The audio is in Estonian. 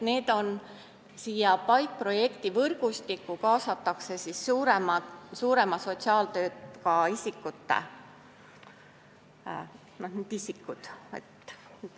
PAIK-projekti võrgustikku on kaasatud suurema sotsiaaltööga isikud.